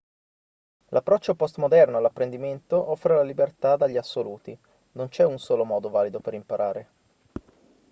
l'approccio post-moderno all'apprendimento offre la libertà dagli assoluti non c'è un solo modo valido per imparare